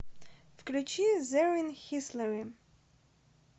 включи зэррин хислерим